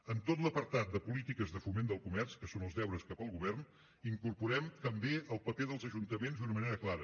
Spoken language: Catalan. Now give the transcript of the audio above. en tot l’apartat de polítiques de foment del comerç que són els deures cap al govern incorporem també el paper dels ajuntaments d’una manera clara